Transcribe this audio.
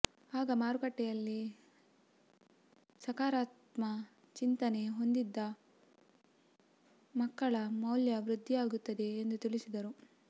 ಆಗ ಮಾರುಕಟ್ಟೆಯಲ್ಲಿ ಸಕಾರಾತ್ಮ ಚಿಂತನೆ ಹೊಂದಿದ ಮಕ್ಕಳ ಮೌಲ್ಯ ವೃದ್ಧಿಯಾಗುತ್ತದೆ ಎಂದು ತಿಳಿಸಿದರು